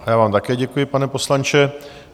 A já vám také děkuji, pane poslanče.